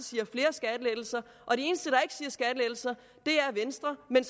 siger skattelettelser er venstre men